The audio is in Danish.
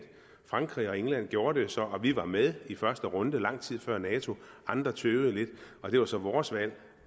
frankrig og england gjorde det så og vi var med i første runde lang tid før nato andre tøvede lidt det var så vores valg